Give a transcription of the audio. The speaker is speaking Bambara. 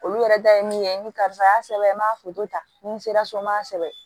Olu yɛrɛ da ye min ye ni karisa y'a sɛbɛn n m'a foto ta ni n sera so n m'a sɛbɛn